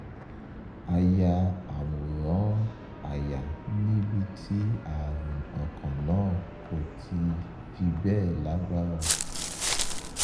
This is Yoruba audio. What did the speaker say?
a ya àwòrán àyà níbi tí ààrùn ọkàn náà kò ti fi bẹ́ẹ̀ lágbára